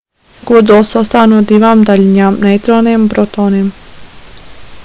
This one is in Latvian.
kodols sastāv no divām daļiņām neitroniem un protoniem